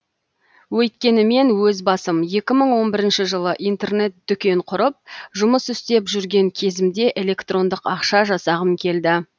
өйткені мен өз басым екі мың он бірінші жылы интернет дүкен құрып жұмыс істеп жүрген кезімде электрондық ақша жасағым келді